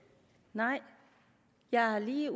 nej jeg har lige